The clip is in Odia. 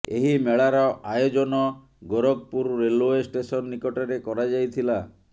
ଏହି ମେଳାର ଆୟୋଜନ ଗୋରଖପୁର ରେଲେଓ୍ବ ଷ୍ଟେସନ ନିକଟରେ କରାଯାଇଥିଲା